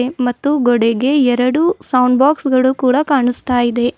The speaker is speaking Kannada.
ಮತ್ತು ಗೋಡೆಗೆ ಎರಡು ಸೌಂಡ್ ಬಾಕ್ಸ್ ಗಳು ಕೂಡ ಕಾಣಿಸ್ತಾ ಇದೆ.